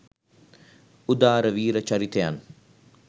උදාර වීර චරිතයන්